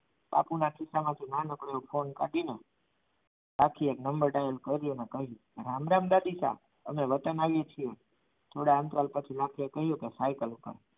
બાપુના ખિસ્સામાંથી નાનકડો એવો ફોન કાઢીને રાખીએ એક નંબર ડાયલ કર્યો અને રામ રામ ગીતા હું વતન આવી છું થોડા અંતરાલ પછી એને કહ્યું કે